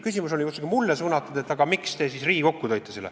Küsimus oli otsekui mulle suunatud, et aga miks te siis selle Riigikokku tõite.